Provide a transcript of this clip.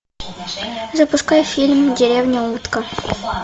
запускай фильм деревня утка